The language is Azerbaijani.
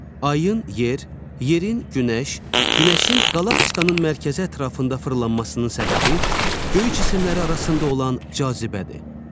Ayın yer, yerin günəş, günəşin qalaktikanın mərkəzi ətrafında fırlanmasının səbəbi göy cisimləri arasında olan cazibədir.